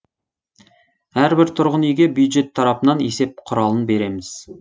әрбір тұрғын үйге бюджет тарапынан есеп құралын береміз